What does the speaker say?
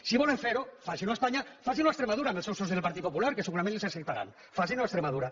si volen fer ho facin ho a espanya facin ho a extremadura amb els seus socis del partit popular que segurament els ho acceptaran facin ho a extremadura